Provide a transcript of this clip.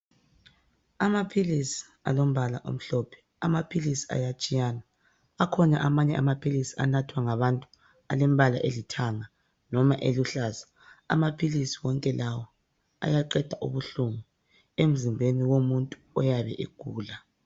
Amaphilisi alombala omhlophe amaphilisi ayatshiyana akhona amanye amaphilisi anathwa ngabantu aleombala elithanga loba aluhlaza amaphilisi wonke lawa ayaqenda inhlungu emzimbeni womuntu oyabe egula